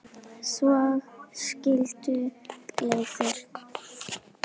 Svo skildu leiðir.